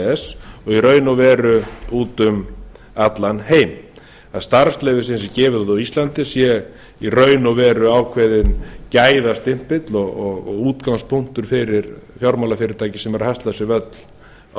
og í raun og út um allan heim það starfsleyfi sem er gefið út á íslandi er í raun og veru ákveðinn gæðastimpill og útgangspunktur fyrir fjármálafyrirtæki sem er að hasla sér völl á